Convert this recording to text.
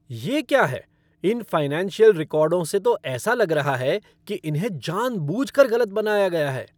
ये क्या है! इन फ़ाइनेंशियल रिकॉर्ड से तो ऐसा लग रहा है कि इन्हें जानबूझकर गलत बनाया गया है।